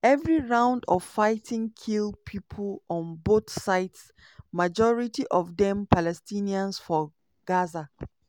every round of fighting kill pipo on both sides majority of dem palestinians for gaza.